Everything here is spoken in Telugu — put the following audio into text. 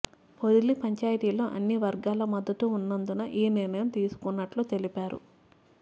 పొదిలి పంచాయతీలో అన్ని వర్గాల మద్దతు ఉన్నందున ఈ నిర్ణయం తీసుకున్నట్లు తెలిపారు